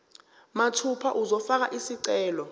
mathupha uzofaka isicelo